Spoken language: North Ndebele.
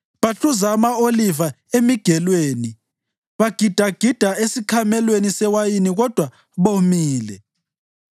Bahluza ama-oliva emigelweni; bagidagida esikhamelweni sewayini kodwa bomile.